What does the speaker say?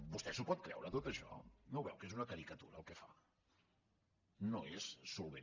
vostè s’ho pot creure tot això no ho veu que és una caricatura el que fa no és solvent